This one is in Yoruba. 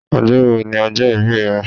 Ọjọ́ wo ni ọjọ́ ìbí ẹ?